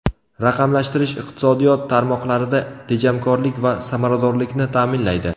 Raqamlashtirish iqtisodiyot tarmoqlarida tejamkorlik va samaradorlikni ta’minlaydi.